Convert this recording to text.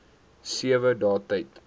sewe dae tyd